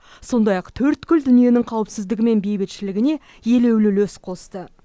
сондай ақ төрткүл дүниенің қауіпсіздігі мен бейбітшілігіне елеулі үлес қосты